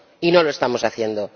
Y no lo estamos haciendo.